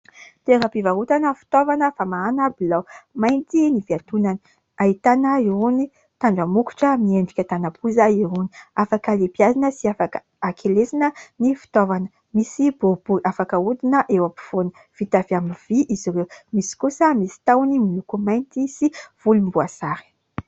Toeram-pivarotana fitaovana famahana bilao, mainty ny fiantonany ahitana irony tandra mokotra miendrika tanam-poza irony. Afaka alehibiazina sy afaka akelezina ny fitaovana. Misy boribory afaka ahodina eo ampovoany. Vita avy amin'ny vỳ izy ireo. Misy kosa misy tahony miloko mainty sy volomboasary.